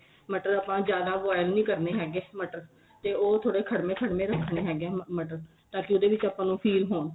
ਮਟਰ ਆਪਾਂ ਜਿਆਦਾ boil ਨੀਂ ਕਰਨੇ ਹੈਗੇ ਮਟਰ ਤੇ ਉਹ ਥੋੜੇ ਖੜਵੇ ਖੜਵੇ ਰੱਖਣੇ ਹੈਗੇ ਮਟਰ ਤਾਂ ਕੀ ਉਹਦੇ ਵਿੱਚ ਆਪਾਂ ਨੂੰ feel ਹੋਣ